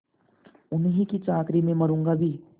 उन्हीं की चाकरी में मरुँगा भी